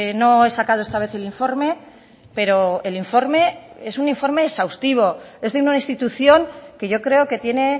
no he sacado esta vez el informe pero el informe es un informe exhaustivo es de una institución que yo creo que tiene